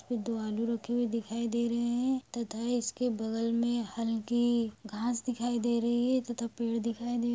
दो आलू रखे दिखाय दे रहे है तथा इसके बगल में हलकी घास दिखाय दे रही है. तथा पेड़ दिखाय दे रहा--